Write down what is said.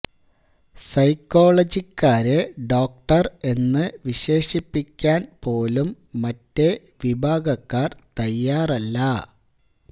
സൈക്കോളജിക്കാരെ doctor എന്നു വിശേഷിപ്പിക്കാന് പോലും മറ്റേ വിഭാഗക്കാര് തയ്യാറല്ല